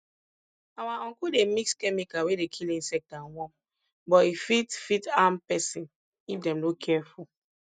our uncle dey mix chemical wey dey kill insect and worm but e fit fit harm peson if dem no careful